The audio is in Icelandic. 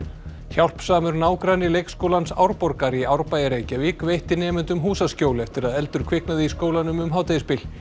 hjálpsamur nágranni leikskólans Árborgar í Árbæ í Reykjavík veitti nemendum húsaskjól eftir að eldur kviknaði í skólanum um hádegisbil